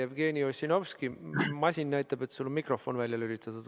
Jevgeni Ossinovski, masin näitab, et sul on mikrofon välja lülitatud.